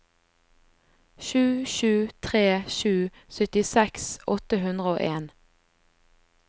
sju sju tre sju syttiseks åtte hundre og en